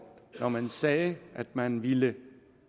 når man sagde at man ville